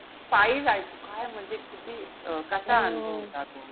पायी जायचो. काय म्हणजे किती अं कसा अनुभव होता तो.